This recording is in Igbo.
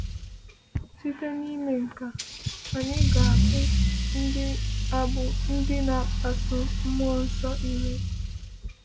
Site n’ịme nke a, anyị ga - abụ ndị abụ ndị na - akpasu Mmụọ Nsọ iwe.